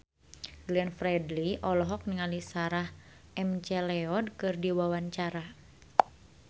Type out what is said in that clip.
Glenn Fredly olohok ningali Sarah McLeod keur diwawancara